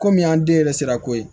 Komi an den yɛrɛ sera ko ye